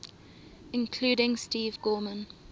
including steve gorman